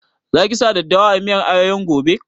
Za ki sa daddawa a miyar ayoyon gobe?